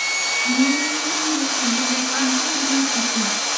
Nĩ ũraiguire andũ makiuga mbu ũtukũ?